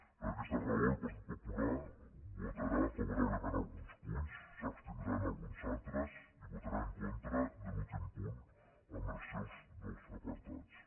per aquesta raó el partit popular votarà favorablement a alguns punts s’abstindrà en alguns altres i votarà en contra de l’últim punt en els seus dos apartats